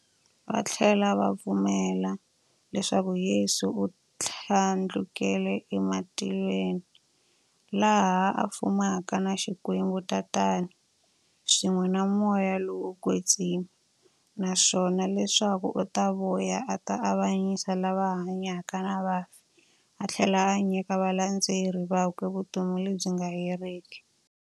Vathlela va pfumela leswaku Yesu u thlandlukele e matilweni, laha a fumaka na Xikwembu-Tatana, swin'we na Moya lowo kwetsima, naswona leswaku u ta vuya a ta avanyisa lava hanyaka na vafi athlela a nyika valandzeri vakwe vutomi lebyi nga heriki.